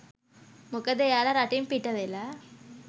මොකද එයාලා රටින් පිටවෙලා